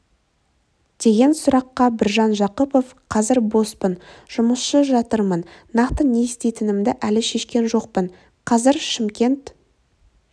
деген сұраққа біржан жақыпов қазір боспын жұмыссыз жатырмын нақты не істейтінімді әлі шешкен жоқпын қазір шымкент